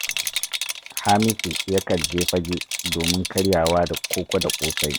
Hamisu yakan je Fagge domin karyawa da koko da ƙosai